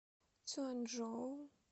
цюаньчжоу